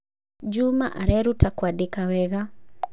juma areruta kwandĩka wega